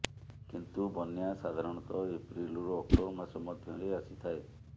କିନ୍ତୁ ବନ୍ୟା ସାଧାରଣତଃ ଏପ୍ରିଲରୁ ଅକ୍ଟୋବର ମାସ ମଧ୍ୟରେ ଆସିଥାଏ